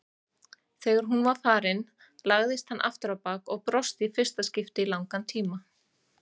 Þegar hún var farin lagðist hann afturábak og brosti í fyrsta skipti í langan tíma.